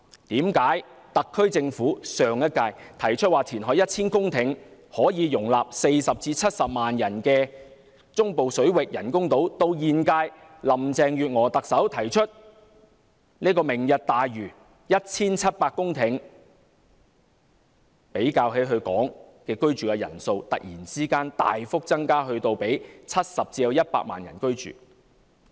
上屆特區政府提出填海 1,000 公頃，建造可以容納40萬至70萬人的中部水域人工島，為何及至現屆特首林鄭月娥提出的"明日大嶼"，即要填海 1,700 公頃，而她所說的居住人口竟突然大幅增至70萬至100萬人呢？